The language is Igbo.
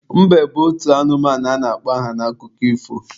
Mbe bụ otu anụmanụ a na-akpọ aha n'akụkọ ifo.